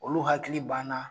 Olu hakili ban na